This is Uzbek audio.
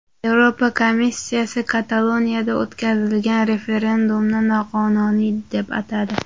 Yevropa komissiyasi Kataloniyada o‘tkazilgan referendumni noqonuniy deb atadi.